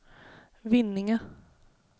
Vinninga